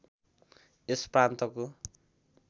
यस प्रान्तको